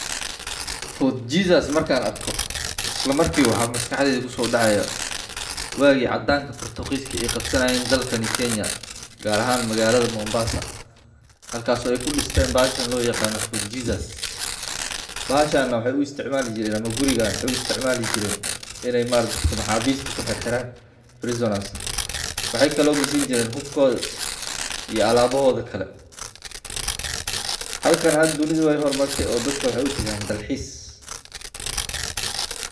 Fort jesus markaan arko isla marki ba waxaa maskaxdeyda kusoodacaya waagi cadaanka portugis ka ey kaqbsanaye dalkani Kenya gaar aahn magaalada Mombaasa halkasi ey kudisteen bahashaan loyaqaana Fort jesus. bahashan neh waxey uisticmali jireen ama gurigaan waxey uisticmali jireen iney maaragti dadka maxaabista kuxixiraan prisoners ,waxey kale eey gishan jireen hubkoodha iyo alaabahoodha kale. halkani hada dunidha wey hormarte ee dadka waxey utagaan dalxiis.